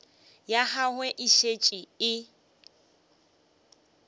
ya gagwe e šetše e